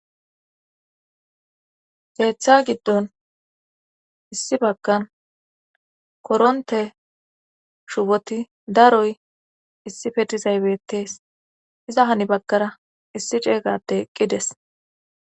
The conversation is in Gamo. Keeththa giddon issi bagkan koronte shupoti daroy issi fedizaybetees iza hani bagkara issi ceeygateqqides.